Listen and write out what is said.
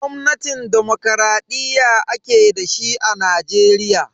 Gwamnatin dimokuraɗiyya ake dashi a Najeriya.